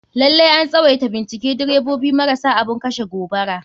Lalai an tswaita bincike direbobi marasa abun kashe gobara.